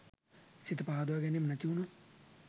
සිත පහදවා ගැනීම නැතිවුණොත්